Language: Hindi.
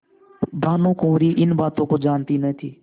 भानुकुँवरि इन बातों को जानती न थी